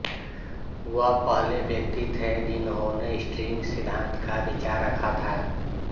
वह पहले व्यक्ति थे जिंनहाने स्ट्रिंग सिद्धांत का विचार रखा था